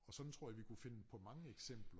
Og sådan tror jeg vi kunne finde på mange eksempler